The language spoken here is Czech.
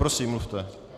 Prosím, mluvte.